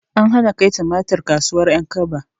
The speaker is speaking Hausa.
An hana kai tumatir kasuwar ƴankaba